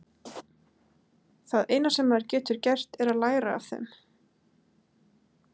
Það eina sem maður getur gert er að læra af þeim.